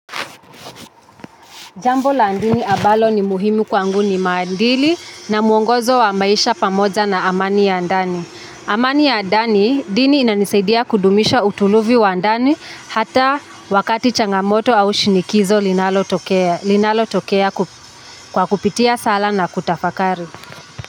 Jambo la dini ambalo ni muhimi kwangu ni maadili na muongozo wa maisha pamoja na amani ya ndani. Amani ya ndani dini inanisaidia kudumisha utulivu wa ndani hata wakati changamoto au shinikizo linalotokea kwa kupitia sala na kutafakari.